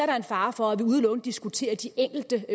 der en fare for at vi udelukkende diskuterer de enkelte